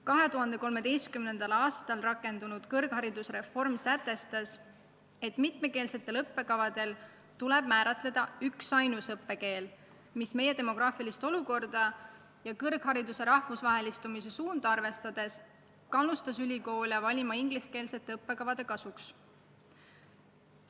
2013. aastal rakendunud kõrgharidusreform sätestas, et mitmekeelsete õppekavade puhul tuleb määratleda üksainus õppekeel, mis meie demograafilist olukorda ja kõrghariduse rahvusvahelistumise suunda arvestades kannustas ülikoole otsustama ingliskeelsete õppekavade kasuks.